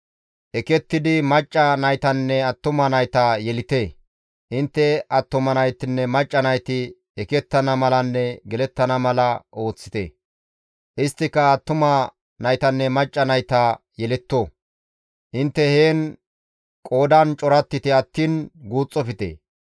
Ekettidi macca naytanne attuma nayta yelite; intte attuma naytinne macca nayti ekettana malanne gelettana mala ooththite; isttika attuma naytanne macca nayta yeletto; intte heen qoodan corattite attiin guuxxofte.